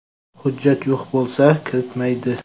Hujjat yo‘q bo‘lsa, kiritilmaydi.